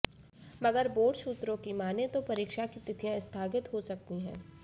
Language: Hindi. मगर बोर्ड सूत्रों की मानें तो परीक्षा की तिथियां स्थगित हो सकती हैं